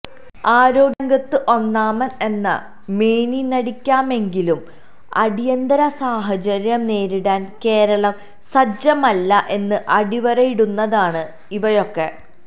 ആരോഗ്യരംഗത്ത് ഒന്നാമൻ എന്ന് മേനിനടിക്കാമെങ്കിലും അടിയന്തര സാഹചര്യം നേരിടാൻ കേരളം സജ്ജമല്ല എന്ന് അടിവരയിടുന്നതാണ് ഇവയൊക്കെ